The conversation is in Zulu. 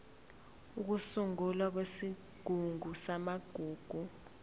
ukusungulwa kwesigungu samagugu